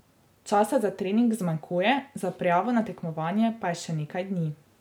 Časa za trening zmanjkuje, za prijavo na tekmovanje pa je še nekaj dni.